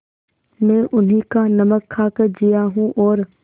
मैं उन्हीं का नमक खाकर जिया हूँ और